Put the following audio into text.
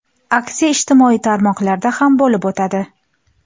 Aksiya ijtimoiy tarmoqlarda ham bo‘lib o‘tadi.